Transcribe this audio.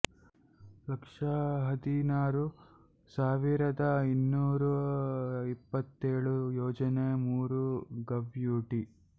ಲಕ್ಷ ಹದಿನಾರು ಸಾವಿರದ ಇನ್ನೂರ ಇಪ್ಪತೇಳು ಯೋಜನ ಮೂರು ಗವ್ಯೂತಿ